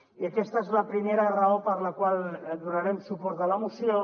i aquesta és la primera raó per la qual donarem suport a la moció